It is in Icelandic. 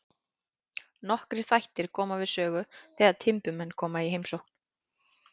Nokkrir þættir koma við sögu þegar timburmenn koma í heimsókn.